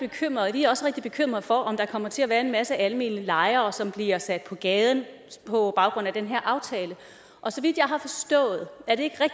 vi også rigtig bekymrede for om der kommer til at være en masse almene lejere som bliver sat på gaden på grund af den her aftale og så vidt